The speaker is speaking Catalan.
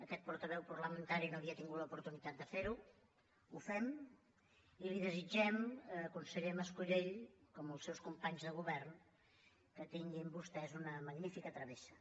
aquest portaveu parlamentari no havia tingut l’oportunitat de ferho ho fem i li desitgem conseller mas colell com als seus companys de govern que tinguin vostès una magnífica travessa